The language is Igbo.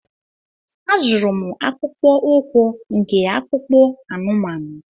A zụrụ m akpụkpọ ụkwụ nke akpụkpọ anụmanụ.